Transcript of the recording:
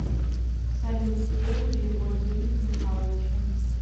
салют сделай перевод денег михалычу